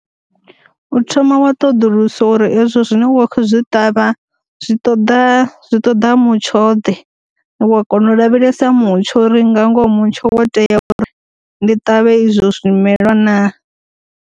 U thoma wa ṱoḓulusa uri hezwo zwine wa kho zwi ṱavha zwi ṱoḓa zwi ṱoḓa mutsho ḓe, wa kona u lavhelesa mutsho uri nga ngoho mutsho wo tea uri ndi ṱavhe izwo zwi melwa na.